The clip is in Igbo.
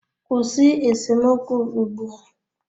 Kwụsị esemokwu ugbu a!